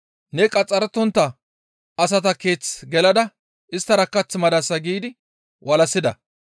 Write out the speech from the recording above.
«Ne qaxxarettontta asata keeth gelada isttara kath madasa» giidi walassida.